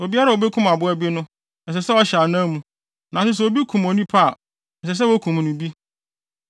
Obiara a obekum aboa bi no, ɛsɛ sɛ ɔhyɛ anan mu; nanso sɛ obi kum onipa a, ɛsɛ sɛ wokum no bi.